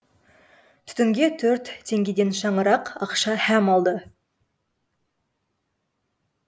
түтінге төрт теңгеден шаңырақ ақша һәм алды